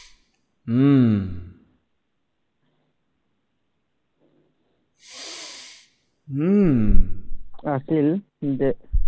আছিল